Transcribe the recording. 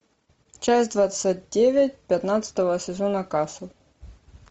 часть двадцать девять пятнадцатого сезона касл